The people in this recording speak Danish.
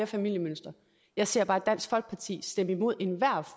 familiemønstre jeg ser bare at dansk folkeparti stemmer imod enhver